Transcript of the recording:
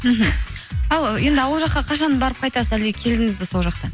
мхм ал енді ауыл жаққа қашан барып қайтасыз әлде келдіңіз бе сол жақтан